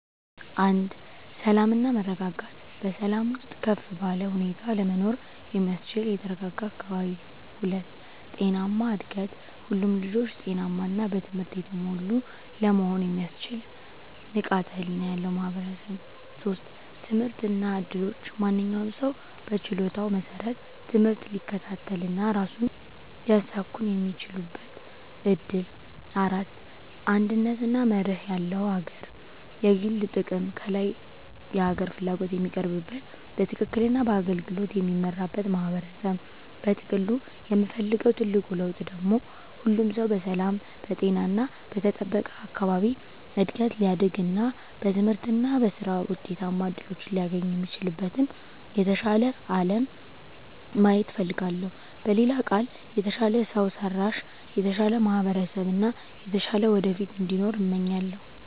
1. ሰላም እና መረጋጋት በሰላም ውስጥ ከፍ ባለ ሁኔታ ለመኖር የሚያስችል የተረጋጋ አካባቢ። 2. ጤናማ እድገት ሁሉም ልጆች ጤናማ እና በትምህርት የተሞሉ ለመሆን የሚያስችል ንቃተ ህሊና ያለው ማህበረሰብ። 3. ትምህርት እና እድሎች ማንኛውም ሰው በችሎታው መሰረት ትምህርት ሊከታተል እና ራሱን ሊያሳኵን የሚችልበት እድል። 4. አንድነት እና መርህ ያለው አገር የግል ጥቅም ከላይ የሀገር ፍላጎት የሚቀርብበት፣ በትክክል እና በአገልግሎት የሚመራበት ማህበረሰብ። በጥቅሉ የምፈልገው ትልቁ ለውጥ ደግሞ ሁሉም ሰው በሰላም፣ በጤና እና በተጠበቀ አካባቢ እድገት ሊያድግ እና በትምህርት እና በሥራ ውጤታማ እድሎችን ሊያገኝ የሚችልበትን የተሻለ አለም ማየት እፈልጋለሁ። በሌላ ቃል፣ የተሻለ ሰው ሰራሽ፣ የተሻለ ማህበረሰብ እና የተሻለ ወደፊት እንዲኖር እመኛለሁ።